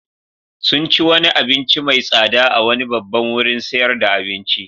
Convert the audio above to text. Sun ci wani abinci mai tsada a wani babban wurin sayar da abinci.